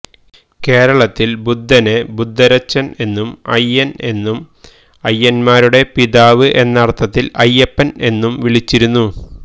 കേരളത്തിൽ ബുദ്ധനെ ബുദ്ധരച്ചൻ എന്നും അയ്യൻ എന്നും അയ്യന്മാരുടെ പിതാവ് എന്നർത്ഥത്തിൽ അയ്യപ്പൻ എന്നും വിളിച്ചിരുന്നു